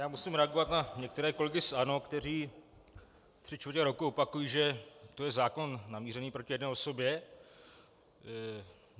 Já musím reagovat na některé kolegy z ANO, kteří tři čtvrtě roku opakují, že to je zákon namířený proti jedné osobě.